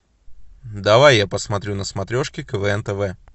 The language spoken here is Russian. давай я посмотрю на смотрешке квн тв